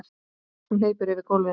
Hún hleypur yfir gólfið.